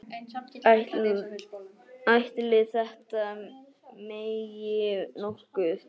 Ætli þetta megi nokkuð?